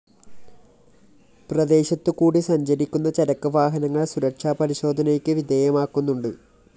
പ്രദേശത്തു കൂടി സഞ്ചരിക്കുന്ന ചരക്ക് വാഹനങ്ങള്‍ സുരക്ഷാ പരിശോധനയ്ക്ക് വിധേയമാക്കുന്നുണ്ട്